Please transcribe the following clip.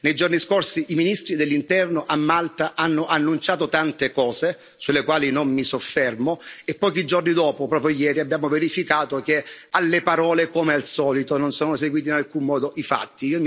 Nei giorni scorsi i ministri dell'Interno a Malta hanno annunciato tante cose, sulle quali non mi soffermo, e pochi giorni dopo, proprio ieri, abbiamo verificato che alle parole, come al solito, non sono seguiti in alcun modo i fatti.